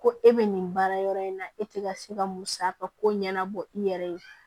Ko e bɛ nin baara in na e tɛ ka se ka musa ka ko ɲɛnabɔ i yɛrɛ ye